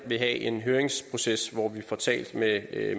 have en høringsproces hvor vi får talt med